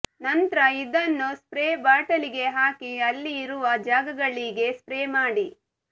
ನಂತ್ರ ಇದನ್ನು ಸ್ಪ್ರೇ ಬಾಟಲಿಗೆ ಹಾಕಿ ಹಲ್ಲಿ ಇರುವ ಜಾಗಗಳಿಗೆ ಸ್ಪ್ರೇ ಮಾಡಿ